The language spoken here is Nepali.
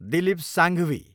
दिलीप साङ्घवी